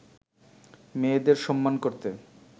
মেয়েদের সম্মান করতে